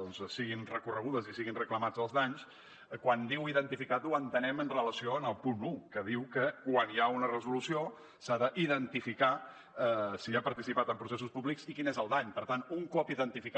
doncs siguin recorregudes i siguin reclamats els danys quan diu identificat ho entenem en relació amb el punt un que diu que quan hi ha una resolució s’ha de identificar si ha participat en processos públics i quin és el dany per tant un cop identificat